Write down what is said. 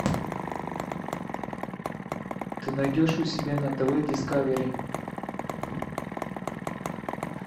ты найдешь у себя на тв дискавери